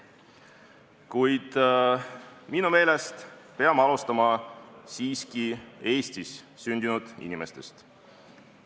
Kuid minu meelest peame alustama siiski Eestis sündinud inimestest.